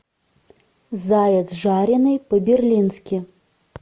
заяц жареный по берлински